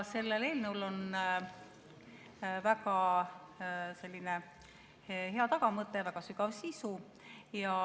" Sellel eelnõul on väga hea tagamõte, väga sügav sisu.